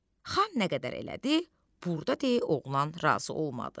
Xan nə qədər elədi, burda de oğlan razı olmadı.